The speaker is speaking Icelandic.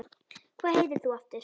Hvað heitir þú aftur?